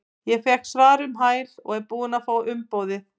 Ég fékk svar um hæl og er búinn að fá umboðið.